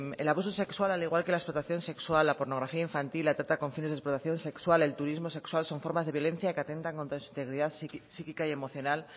el abuso sexual al igual que la explotación sexual la pornografía infantil la trata con fines de explotación sexual el turismo sexual son formas de violencia que atentan contra su integridad psíquica y emocional